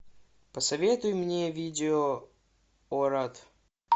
посоветуй мне видео орад